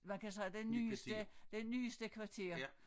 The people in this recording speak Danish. Man kan sige det nyeste det nyeste kvarter